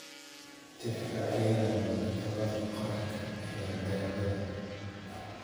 Tixraacyada Maktabada Qaranka ee Daawada.